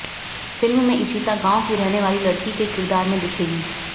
film में इशिता गांव की रहने वाली लड़की के किरदार में दिखेंगी